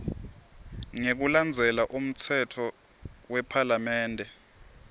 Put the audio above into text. ngekulandzela umtsetfo wephalamende